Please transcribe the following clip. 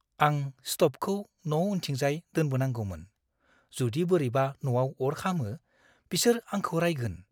आं स्तबखौ न' उनथिंजाय दोनबोनांगौमोन। जुदि बोरैबा न'आव अर खामो, बिसोर आंखौ राइगोन।